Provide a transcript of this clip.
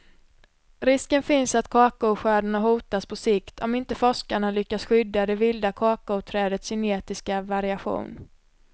Risken finns att kakaoskördarna hotas på sikt, om inte forskarna lyckas skydda det vilda kakaoträdets genetiska variation.